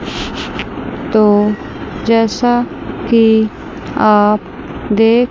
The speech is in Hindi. तो जैसा कि आप देख--